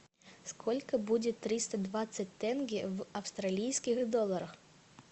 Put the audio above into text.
сколько будет триста двадцать тенге в австралийских долларах